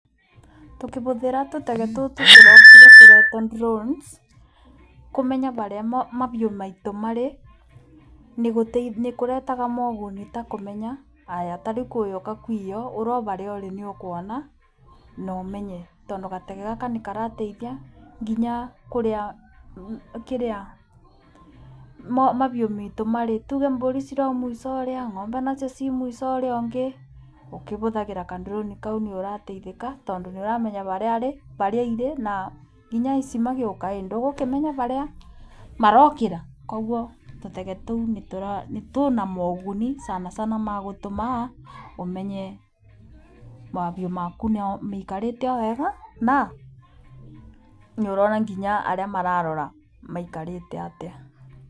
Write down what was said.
Tũkĩbũthĩra tũtege tũtũ tũrokire tũretwo cs] drones, kũmenya barĩa mabiũ maitũ marĩ nĩ kũretaga moguni ta kũmenya, ta rĩu kũroka kũiywo ũrĩ barĩa ũrĩ nĩ ũkuona na ũmenye. Tondũ gatege gaka nĩ karateithia nginya kũrĩa, kĩrĩa, mabiũ maitũ marĩ, tuge mbũri cirĩ o mũico ũrĩa ng'ombe nacio cirĩ o mũico ũrĩa ũngĩ. Ũkĩbũthagĩra ka drone kau nĩ ũrateithĩka, tondũ nĩ ũramenya barĩa irĩ na nginya aici magĩũka, ndũgũkĩmenya barĩa marokĩra. Koguo tũtege tũu twĩ na moguni sana sana magũtũma ũmenye mabiũ maku no maikarĩte o wega, na nĩ ũrona nginya arĩa marora maikarĩte atĩa.